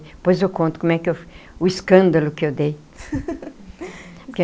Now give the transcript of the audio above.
Depois eu conto como é que eu o escândalo que eu dei.